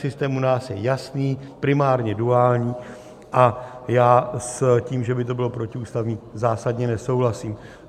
Systém u nás je jasný, primárně duální, a já s tím, že by to bylo protiústavní, zásadně nesouhlasím.